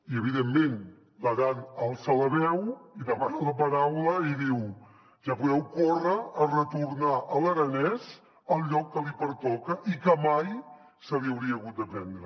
i evidentment l’aran alça la veu i demana la paraula i diu ja podeu córrer a retornar l’aranès al lloc que li pertoca i que mai se li hauria hagut de prendre